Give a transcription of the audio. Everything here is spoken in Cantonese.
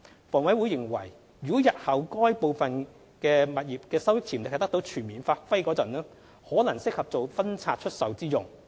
房委會認為如日後部分該等物業的收益潛力得到全面發揮時，可能適合做分拆出售之用。